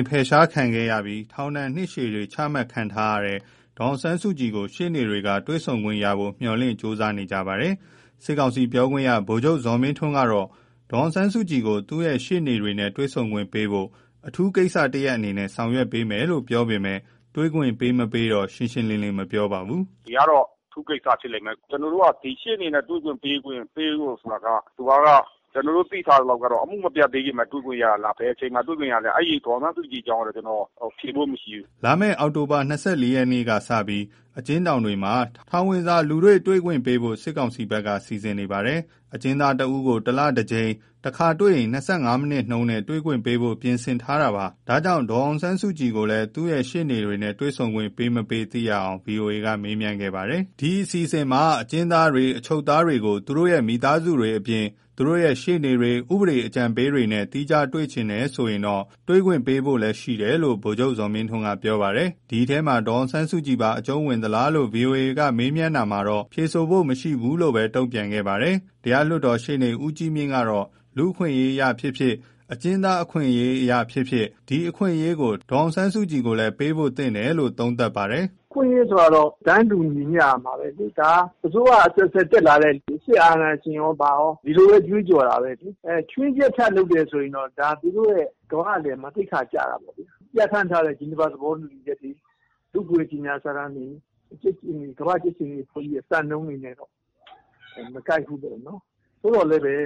မ်း အဖယ်ရှားခံခဲ့ရပြီး နှစ်ရှည်ထောင်ဒဏ်တွေ ချမှတ်ခံထားရတဲ့ ဒါ်အောင်ဆန်းစုကြည်ကို ရှေ့နေတွေက တွေ့ဆုံခွင့်ရဖို့ မျှော်လင့်ကြိုးစားနေကြပါတယ်။ စစ်ကောင်စီပြောခွင့်ရ ဗိုလ်ချုပ်ဇော်မင်းထွန်းကတော့ ဒေါ်အောင်ဆန်းစုကြည်ကို သူမရှေ့နေတွေနဲ့ တွေ့ဆုံခွင့်ပေးဖို့ အထူးကိစ္စ တရပ်အနေနဲ့ ဆောင်ရွက်မယ်လို့ပြောပေမယ့် တွေ့ခွင့်ပေးမပေး ရှင်းရှင်းလင်းလင်း မပြောပါဘူး။ “ဒါကတော့အထူးကိစ္စဖြစ်လိမ့်မယ်။ ကျနော်တို့က ဒီရှေ့နေတွေနဲ့တွေ့ခွင့်ပေးဖို့ဆိုတာက ကျနော်တို့သိထားသလောက်ကတော့ အမှုမပြတ်သေးခင် တွေ့ခွင့်ရတာလား။ ဘယ်အချိန်မှာ တွေ့ခွင့်ရတာလဲ၊ ဒေါ်အောင်ဆန်းစုကြည်အကြောင်းကတော့ကျနော် ဖြေဖို့မရှိဘူး။” လာမယ့် အောက်တိုဘာ ၂၄ ရက်ကစပြီး အကျဉ်းထောင်တွေမှာ ထောင်ဝင်စာ လူတွေ့ခွင့်ပေးဖို့ စစ် ကောင်စီဘက်က စီစဉ်နေပါတယ်။ အကျဉ်းသားတဦးကို တလတကြိမ်၊ တခါတွေ့ ၂၅ မိနစ်နဲ့ တွေ့ဆုံခွင့်ပေးဖို့ ပြင်ဆင်ထားတာပါ။ ဒါကြောင့် ဒေါ်အောင်ဆန်းစုကြည်ကိုလည်း သူမရှေ့နေတွေနဲ့ တွေ့ဆုံခွင့် ပေးမပေးသိရအောင် ဗွီအိုအေက မေးမြန်းခဲ့တာ ဖြစ်ပါတယ်။ အစီအစဉ်အရ အကျဉ်းသားတွေ အချုပ်သားတွေကို သူတို့ရဲ့ မိသားစုတွေအပြင် သူတို့ရဲ့ ရှေ့နေတွေ၊ ဥပဒေအကြံပေးတွေနဲ့ သီးခြား တွေ့ချင်တယ်ဆိုရင် တွေ့ခွင့် ပေးဖို့ရှိတယ်လို့လည်း ဗိုလ်ချုပ်ဇော်မင်းထွန်းက ပြောပါတယ်။ ဒီအထဲမှာ ဒေါ်အောင်ဆန်းစုကြည်ပါ အကျုံးဝင်သလားလို့ ဗွီအိုအေကမေးမြန်တာကိုတော့ ဖြေဆိုဖို့မရှိဘူးလို့ပဲ တုန့်ပြန်ပြောဆိုခဲ့တာ ဖြစ်ပါတယ်။ တရားလွှတ်တော်ရှေ့နေ ဦးကြီးမြင့်ကတော့ လူ့အခွင့်အရေးအရ ဖြစ်ဖြစ် အကျဉ်းသားအခွင့်အရေး အရဖြစ်ဖြစ် ဒီအခွင့်အရေးကို ဒေါ်အောင်ဆန်းစုကြည်ကိုလည်း ပေးဖို့သင့်တယ်လို့ သုံးသပ်ပါတယ်။ “အခွင့်အရေးဆိုတာကတော့ တန်းတူညီမျှရမှာပဲလေ။ အစိုးရအဆက်ဆက် စစ်အာဏာရှင်ကော ဘာကော ဒီလိုပဲ ကြွေးကြော်တာပဲလေ။ ဒါကို ခြွင်းချက်လုပ်ရင်တော့ သူတို့ ကမ္ဘာ့အလယ်မှာ သိက္ခာကျတာ ပေါ့။ ပြဌာန်းထားတဲ့ ဂျီနီဗာသဘောတူညီချက်တွေ၊ လူ့အခွင့်အရေး ကြေညာစာတမ်းတွေ၊ ကမ္ဘာ့ကြက်ခြေနီ စံနှုန်းတွေနဲ့တော့ မကိုက်ဘူးပေါ့နော်။ သို့သော်လည်းပဲ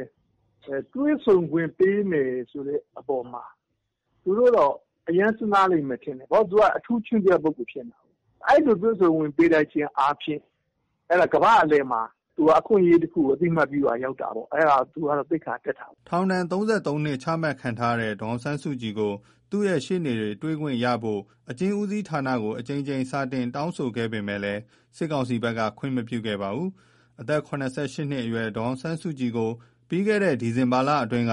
တွေ့ဆုံခွင့်ပေးမယ်ဆိုတဲ့ အပေါ်မှာ သူတို့တော့ အရမ်းစဉ်းစားလိမ့်မယ်ထင်တယ်။ ဘာလို့ဆို သူက အထူးခြွင်းချက် ပုဂ္ဂိုလ် ဖြစ်နေတာကိုး။ အဲလို တွေ့ခွင့်ပေးလိုက်ခြင်းအားဖြင့် ကမ္ဘာ့အလယ်မှာ သူက အခွင့်အရေးတခုကို အသိအမှတ်ပြုရာ ရောက်တာပေါ့။ သူကတော့သိက္ခာတက်တာပေါ့။” ထောင်ဒဏ် ၃၃ နှစ် အချမှတ်ခံထားရတဲ့ ဒေါ်အောင်ဆန်းစုကြည်ကို သူမရှေ့နေတွေက တွေ့ခွင့်ရနိုင်ဖို့ အကျဉ်းဦးစီးဌာနကို အကြိမ်ကြိမ်စာတင် တောင်းဆိုခဲ့ပေမယ့် စစ်ကောင်စီ ဘက်က ခွင့်မပြု ခဲ့ပါဘူး။ အသက် ၇၈ နှစ်အရွယ် ဒေါ်အောင်ဆန်းစုကြည်ကို ပြီးခဲ့တဲ့ ဒီဇင်ဘာလအတွင်းက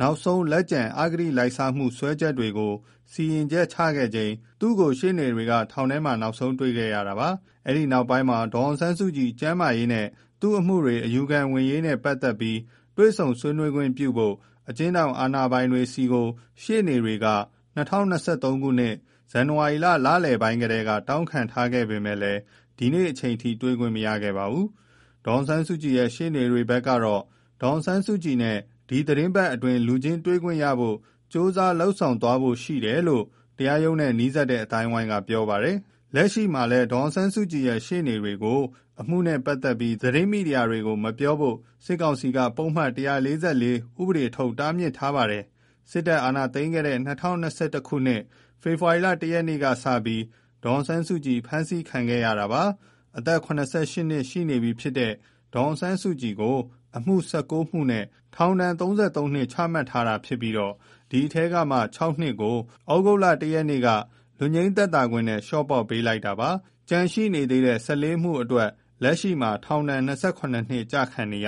နောက်ဆုံး လက်ကျန် အဂတိလိုက်စားမှုစွဲချက်တွေကို စီရင်ချက်ချခဲ့ချိန် သူမကို ရှေ့နေတွေက ထောင်ထဲ မှာ နောက်ဆုံး တွေ့ခဲ့ရတာ ဖြစ်ပါတယ်။ အဲဒီနောက်ပိုင်းမှာ ဒေါ်အောင်ဆန်းစု ကြည် ကျန်းမာရေးနဲ့ သူ့ အမှုတွေ အယူခံဝင်ရေး နဲ့ပတ်သက်ပြီး တွေ့ဆုံဆွေးနွေးခွင့်ပြုဖို့ အကျဉ်းထောင် အာဏာပိုင်တွေထံ ရှေ့နေတွေက ၂၀၂၃၊ ဇန်နဝါရီလလယ်ပိုင်း ကတည်းက တောင်းခံ ထားခဲ့ ပေမယ့် ဒီနေ့ဒီအချိန် တွေ့ခွင့်မရခဲ့ပါဘူး။ ဒေါ်အောင်ဆန်းစုကြည်ရဲ့ ရှေ့နေတွေဘက်ကတော့ ဒေါ်အောင်ဆန်းစုကြည်နဲ့ ဒီသတင်းတပတ်အ တွင်း လူချင်းတွေ့ခွင့်ရဖို့ ကြိုးစားသွားဖွယ်ရှိတယ်လို့ တရားရုံးနဲ့နီးစပ်တဲ့အသိုင်းအဝိုင်းကပြော ပါတယ်။ လက်ရှိမှာ ဒေါ်အောင်ဆန်းစုကြည်ရဲ့ ရှေ့နေတွေကိုလည်း အမှုနဲ့ပတ်သက်ပြီး သတင်းမီဒီယာတွေကို မပြောဖို့ စစ်ကောင်စီကပုဒ်မ ၁၄၄ ဥပဒေထုတ် တားမြစ်ပိတ်ပင်ထားတာ ဖြစ်ပါတယ်။ စစ်တပ် အာဏာသိမ်းခဲ့တဲ့ ၂၀၂၁ ခုနှစ် ဖေဖော်ဝါရီလ ၁ ရက်နေ့ကစပြီး ဒေါ်အောင်ဆန်းစုကြည် ဖမ်းဆီးခံခဲ့ရတာ ဖြစ်ပါတယ်။ အသက် ၇၈ နှစ် ရှိပြီဖြစ်တဲ့ ဒေါ်အောင်ဆန်းစုကြည်ကို အမှု ၁၉ မှုနဲ့ ထောင်ဒဏ် ပြစ်ဒဏ် ၃၃ နှစ် ချမှတ်ထားပြီး ဒီအထဲကမှ ၆ နှစ်ကို သြဂုတ်လ ၁ ရက်နေ့က လွတ်ငြိမ်းသက်သာခွင့်နဲ့ လျှော့ပေါ့ ပေးလိုက်ပေးခဲ့ပါတယ်။ ကျန်နေသေးတဲ့ ၁၄ မှုအတွက် လက်ရှိမှာ ထောင်ဒဏ် ၂၇ နှစ် ကျခံနေရ